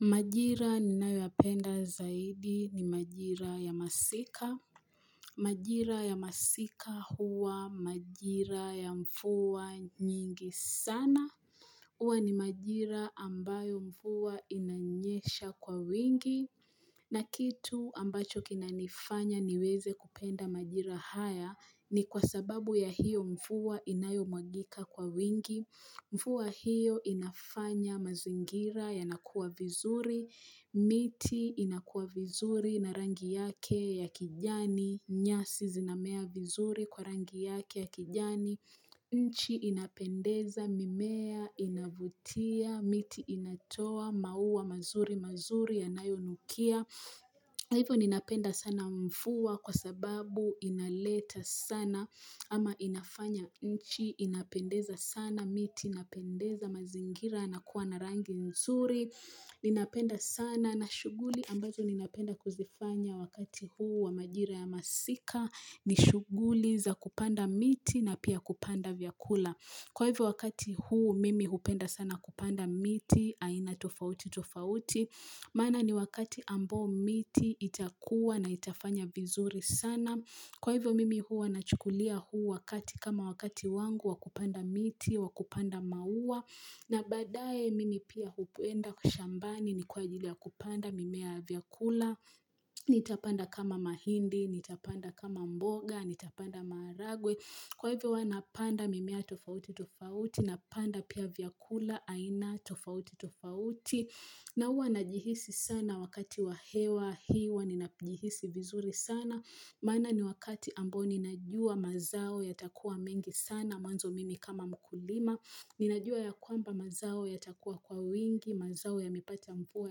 Majira ninayoyapenda zaidi ni majira ya masika. Majira ya masika huwa majira ya mvua nyingi sana. Huwa ni majira ambayo mvua inanyesha kwa wingi. Na kitu ambacho kinanifanya niweze kupenda majira haya ni kwa sababu ya hiyo mvua inayomwagika kwa wingi. Mvua hiyo inafanya mazingira yanakua vizuri, miti inakuwa vizuri na rangi yake ya kijani, nyasi zinamea vizuri kwa rangi yake ya kijani, nchi inapendeza, mimea inavutia, miti inatoa maua mazuri mazuri yanayonukia. Hivyo ninapenda sana mvua kwa sababu inaleta sana ama inafanya nchi, inapendeza sana miti inapendeza, mazingira yanakuwa na rangi nzuri, ninapenda sana nashughuli ambazo ninapenda kuzifanya wakati huu wa majira ya masika, ni shughuli za kupanda miti na pia kupanda vyakula. Kwa hivyo wakati huu mimi hupenda sana kupanda miti, aina tofauti tofauti, maana ni wakati ambao miti itakuwa na itafanya vizuri sana. Kwa hivyo mimi huwa nachukulia huu wakati kama wakati wangu wa kupanda miti, wakupanda maua, na baadaye mimi pia hupenda shambani ni kwa ajili ya kupanda mimea ya vyakula, nitapanda kama mahindi, nitapanda kama mboga, nitapanda maharagwe. Kwa hivyo huwa napanda mimea tofauti tofauti napanda pia vyakula aina tofauti tofauti na huwa najihisi sana wakati wa hewa huwa ninapohisi vizuri sana maana ni wakati ambao ni najua mazao yatakuwa mengi sana mwanzo mimi kama mkulima Ninajua ya kwamba mazao yatakuwa kwa wingi, mazao yamepata mvua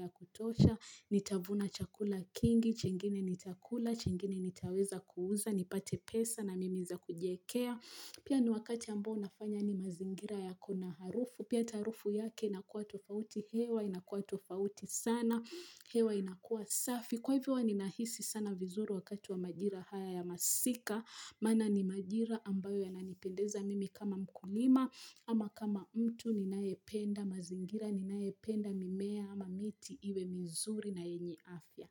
ya kutosha. Nitavuna chakula kingi, chengine nitakula, chengine nitaweza kuuza nipate pesa na mimi za kujiwekea Pia ni wakati ambao unafanya ni mazingira yako na harufu. Pia harufu yake inakuwa tofauti hewa inakuwa tofauti sana, hewa inakuwa safi kwa hivyo ninahisi sana vizuru wakati wa majira haya ya masika maana ni majira ambayo yananipendeza mimi kama mkulima ama kama mtu ninayependa mazingira, ninayependa mimea ama miti iwe mzuri na yenye afya.